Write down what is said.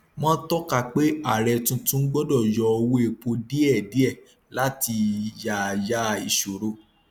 wọn tọka pé ààrẹ tuntun gbọdọ yọ owó epo díẹdíẹ láti yáyà ìṣòro